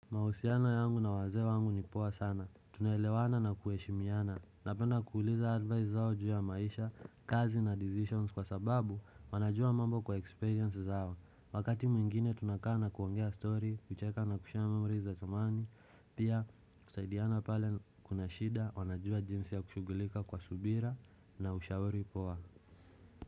Mahusiano yangu na wazee wangu ni poa sana. Tunaelewana na kuheshimiana. Napenda kuuliza advice zao juu ya maisha, kazi na decisions kwa sababu wanajua mambo kwa experience zao. Wakati mwingine tunakaa na kuongea story, kucheka na kushare memories za zamani, pia kusaidiana pale kuna shida, wanajua jinsi ya kushughulika kwa subira na ushauri poa.